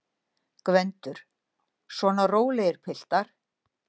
GVENDUR: Svona rólegir, piltar!